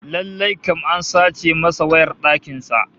Lallai kam an sace masa wayar dakin sa